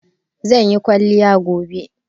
Zan yi kwaliya gobe